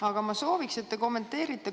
Aga ma sooviks, et te kommenteerite.